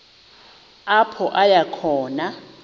apho aya khona